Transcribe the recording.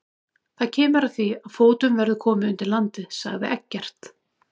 Það kemur að því að fótum verður komið undir landið, sagði Eggert.